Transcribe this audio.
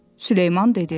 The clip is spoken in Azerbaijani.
Süleyman dedi.